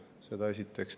Seda esiteks.